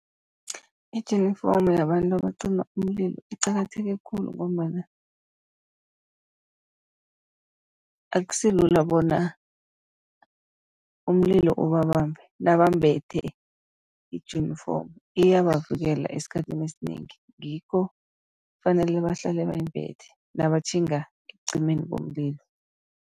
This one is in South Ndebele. Ijinifomu yabantu abacima umlilo iqakatheke khulu, ngombana akusilula bona umlilo ubabambe nabambethe ijunifomu iyabavikela esikhathini esinengi. Ngikho kufanele bahlale bayimbethe nabatjhinga ekucimeni komlilo.